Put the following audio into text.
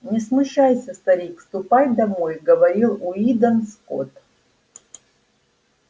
не смущайся старик ступай домой говорил уидон скотт